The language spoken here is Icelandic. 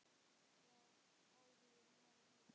Já, áhuginn var víða.